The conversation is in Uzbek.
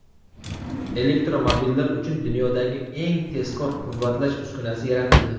Elektromobillar uchun dunyodagi eng tezkor quvvatlash uskunasi yaratildi.